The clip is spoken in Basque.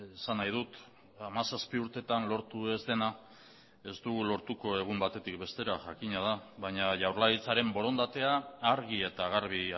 esan nahi dut hamazazpi urteetan lortu ez dena ez dugu lortuko egun batetik bestera jakina da baina jaurlaritzaren borondatea argi eta garbi